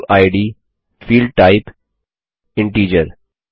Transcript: issue id field type integer